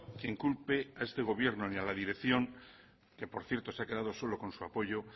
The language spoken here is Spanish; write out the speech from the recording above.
quien culpe a este gobierno ni a la dirección que por cierto se ha quedado solo con su apoyo